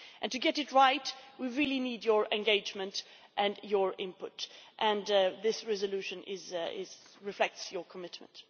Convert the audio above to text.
And to get it right, we really need your engagement and your input, and this resolution reflects your commitment.